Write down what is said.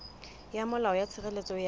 ya molao ya tshireletso ya